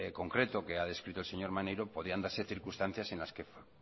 concreto que ha descrito el señor maneiro podrían darse circunstancias en las que